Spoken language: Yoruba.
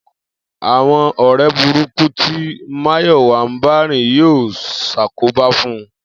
Àwo̩n ò̩ré̩ burúkú ti Máyò̩wá ń bá rìn yóò s̩àkóbá fún un